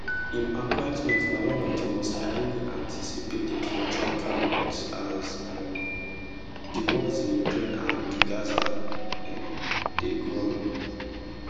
im appointment na one of di most highly anticipated for trump cabinet as um di wars in ukraine and gaza um dey go on